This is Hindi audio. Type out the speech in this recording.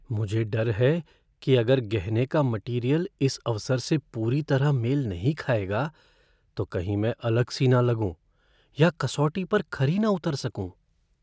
मुझे डर है कि अगर गहने का मटीरियल इस अवसर से पूरी तरह मेल नहीं खाएगा तो कहीं मैं अलग सी न लगूं या कसौटी पर खरी न उतर सकूँ।